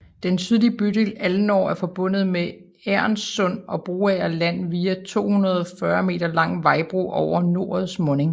Den sydlige bydel Alnor er forbundet med Egernsund og Broager Land via en 240 m lang vejbro over norets munding